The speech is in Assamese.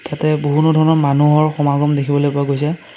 বহুতো ধৰণৰ মানুহৰ সমাগম দেখিবলৈ পোৱা গৈছে।